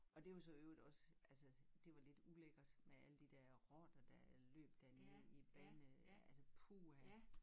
Og det var så i øvrigt også altså det var lidt ulækkert med alle de dér rotter der løb dernede i bane øh altså puha